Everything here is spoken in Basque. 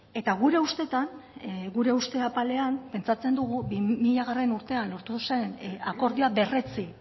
eta gure ustetan gure uste apalean pentsatzen dugu bi milagarrena urtean lortu zen akordioa berretsi